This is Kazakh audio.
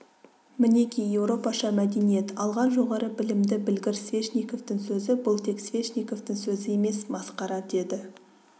мінеки еуропаша мәдениет алған жоғары білімді білгір свешниковтың сөзі бұл тек свешниковтың сөзі емес масқара деді